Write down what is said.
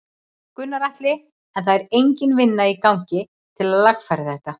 Gunnar Atli: En það er engin vinna í gangi til að lagfæra þetta?